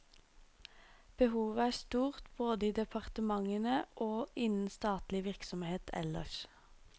Behovet er stort både i departementene og innen statlig virksomhet ellers.